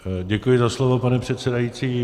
Děkuji za slovo, pane předsedající.